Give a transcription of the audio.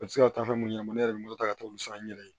U tɛ se ka taa fɛn mun ɲɛna ne yɛrɛ bɛ n bolo ka t'olu san n yɛrɛ ye